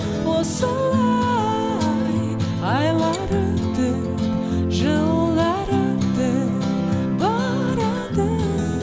осылай айлар өтіп жылдар өтіп барады